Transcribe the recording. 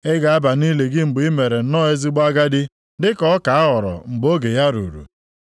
Ị ga-aba nʼili gị mgbe i mere nnọọ ezigbo agadi, dịka ọka a ghọrọ mgbe oge ya ruru.